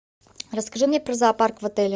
расскажи мне про зоопарк в отеле